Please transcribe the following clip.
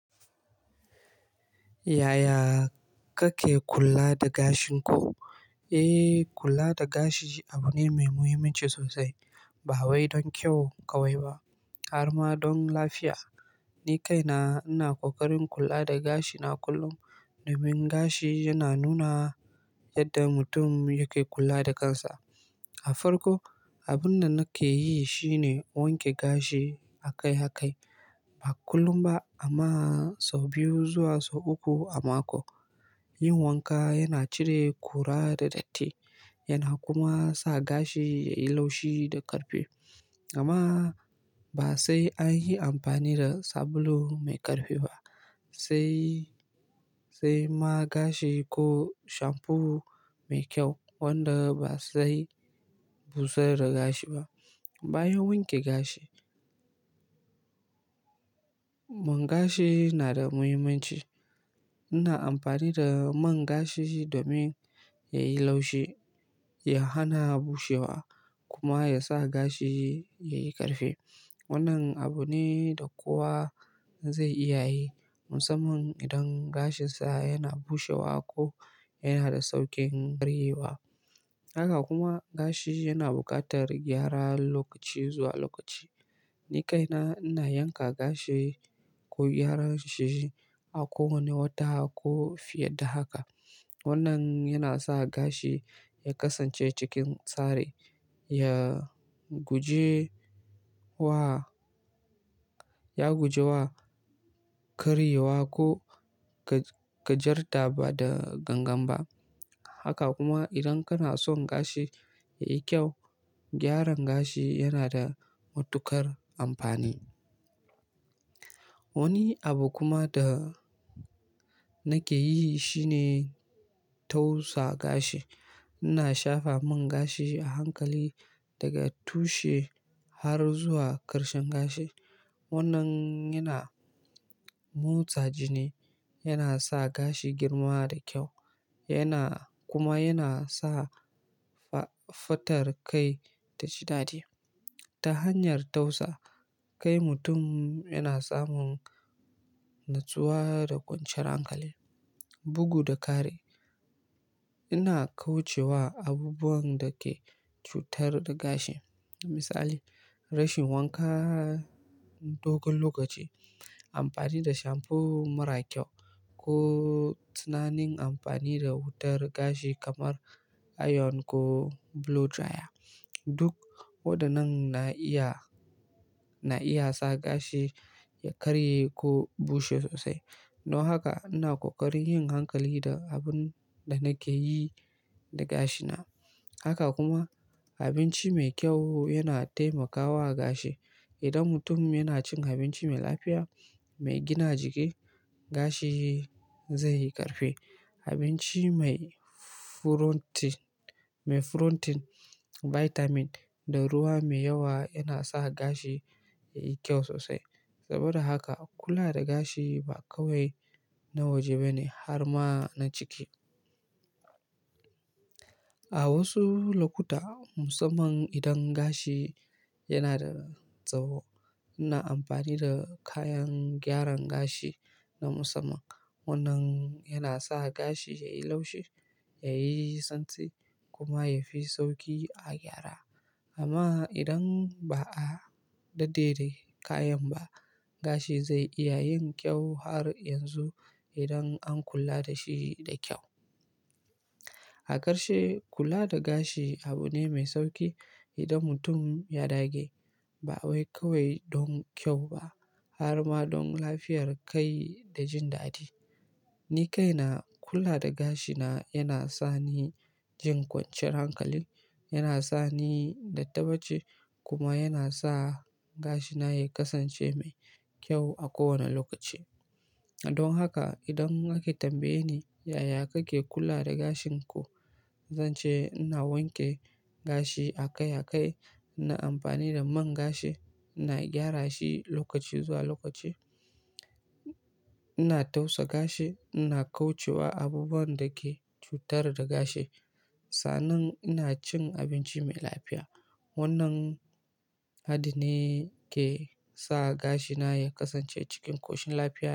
Yaya kake kula da gashin ku? Eh, kula da gashi abu ne mai muhimmanci sosai. Ba wai don kyau kawai ba harma don lafiya. Ni kaina ina ƙoƙarin kula da gashina kullum. Domin gashi yana nuna yadda mutum yake kula da kansa. Da farko abunda nike yi shine wanke gashi akai akai ba kullum ba amma sau biyu zuwa sau uku a mako. Yin wanka yana cire ƙura da datti yana kuma sa gashi yayi laushi da ƙarfi. Amma ba sai an yi amfani da sabulu mai ƙarfi ba, sai, sai man gashi ko shampoo mai kyau wanda ba zai busar da gashi ba. Bayan wanke gashi, man gashi na da muhimmanci ina amfani da man gashi domin yayi laushi, ya hana bushewa kuma yasa gashi yayi ƙarfi. Wannan abu ne da kowa zai iya yi musamman idan gashinsa yana bushewa ko yana da sauƙin karyewa. Haka kuma gashi yana buƙatar gyara lokaci zuwa lokaci. Ni kaina ina yanka gashi ko gyara shi a kowane wata ko fiye da haka. Wannan yana sa gashi ya kasance cikin tsari, ya guje wa, ya guje wa karyewa ko ga, gajarta ba da gangan ba. Haka kuma idan kana son gashi yayi kyau, gyaran gashi yana da matuƙar amfani. Wani abu kuma da nake yi shine tausa gashi. Ina shafa man gashi a hankali daga tushe har zuwa ƙarshen gashi. Wannan yana motsa jini, yana sa gashi girma da kyau yana kuma yana sa fa, fatar kai ta ji daɗi. Ta hanyar tausa, kai mutum yana samun natsuwa da kwanciyar hankali. Bugu da ƙari, ina kauce wa abubuwan da ke cutar da gashi. Misali, rashin wanka dogon lokaci, amfani da shampoo mara kyau ko tunanin amfani da wutar gashi kamar iron ko blow dryer. Duk waɗannan na iya, na iya sa gashi ya karye ko bushewa sosai. Don haka ina ƙoƙarin yin hankali da abun da nake yi da gashina. Haka kuma abinci mai kyau yana taimakawa gashi. Idan mutum yana cin abinci mai lafiya, mai gina jiki, gashi zai yi ƙarfe. Abinci mai furotin, mai furotin, bitamin da ruwa mai yawa yana sa gashi yayi kyau sosai. Saboda haka kula da gashi ba kawai na waje bane harma na ciki. A wasu lokuta musamman idan gashi yana da tsawo ina amfani da kayan gyaran gashi na musamman. Wannan yana sa gashi yayi laushi, yayi tsantsi kuma yafi sauƙi a gyara. Amma idan ba a dade da kayan ba gashi zai iya yin kyau har yanzu idan an kula dashi da kyau. A ƙarshe, kula da gashi abu ne mai sauƙi idan mutum ya dage. Ba wai kawai don kyau ba harma don lafiyar kai da jin daɗi. Ni kaina kula da gashina yana sa ni jin ƙwanciyar hankali, yana sa ni natabbace kuma yana sa gashina ya kasance mai kyau a kowane lokaci. Don haka idan ake tambaye ni yaya kake kula da gashin ku, zance ina wanke gashi akai akai, ina amfani da man gashi, ina gyara shi lokaci zuwa lokaci, ina tausa gashi, ina kauce wa abubuwan da ke cutar da gashi. Sannan ina cin abinci mai lafiya. Wannan hadin ne ke sa gashi na ya kasance cikin koshin lafiya.